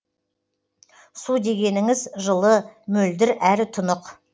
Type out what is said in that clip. су дегеніңіз жылы мөлдір әрі тұнық